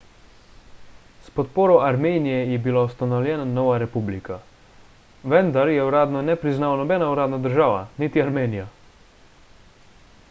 s podporo armenije je bila ustanovljena nova republika vendar je uradno ne priznava nobena uradna država – niti armenija